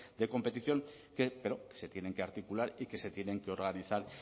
de competición pero se tienen que articular y que se tienen que organizar